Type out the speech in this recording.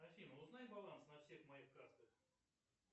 афина узнай баланс на всех моих картах